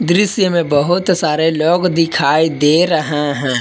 दृश्य में बहुत सारे लोग दिखाई दे रहे हैं।